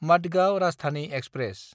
Madgaon Rajdhani express